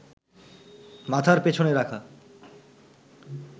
মাথার পেছনে রাখা